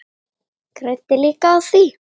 Græddi líka á því.